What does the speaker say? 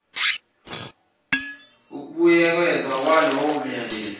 ukubuyekezwa kwalowo myalelo